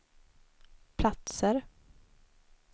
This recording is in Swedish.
platser